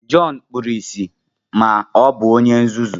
Jọn kpuru ìsì ma o bu onye nzuzu